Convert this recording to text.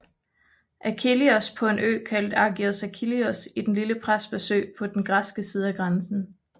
Achillios på en ø kaldet Agios Achillios i Den lille Prespasø på den græske side af grænsen